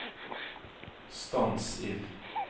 stans ild